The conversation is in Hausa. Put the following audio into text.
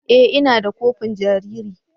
E! Ina da kofin jariri.